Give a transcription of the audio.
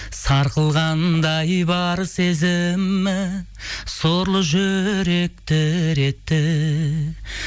сарқылғандай бар сезімім сорлы жүрек дір етті